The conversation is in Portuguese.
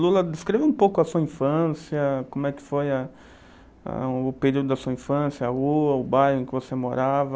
Lula, descreva um pouco a sua infância, como é que foi, a o período da sua infância, a rua, o bairro em que você morava.